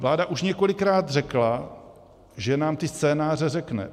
Vláda už několikrát řekla, že nám ty scénáře řekne.